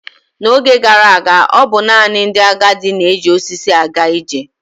N'oge gara aga, ọ bụ naanị ndị agadi na-eji osisi aga ije.